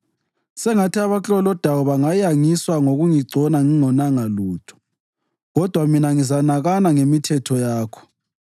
Sengathi abaklolodayo bangayangiswa ngokungigcona ngingonanga lutho; kodwa mina ngizanakana ngemithetho yakho.